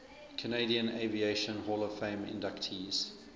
canadian aviation hall of fame inductees